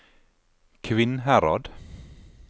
Kvinnherad